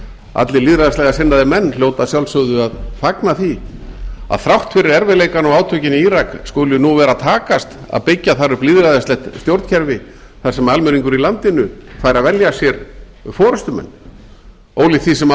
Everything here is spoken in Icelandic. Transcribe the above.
allir lýðræðislega sinnaðir menn hljóta að sjálfsögðu að fagna því að þrátt fyrir erfiðleikana og átökin í blak skuli nú vera að takast að byggja þar upp lýðræðislegt stjórnkerfi þar sem almenningur í landinu fær að velja sér forustumenn ólíkt því sem